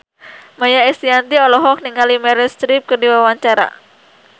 Maia Estianty olohok ningali Meryl Streep keur diwawancara